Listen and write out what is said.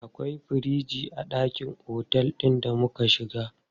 Akwai firiji a ɗakin otel ɗin da muka shiga.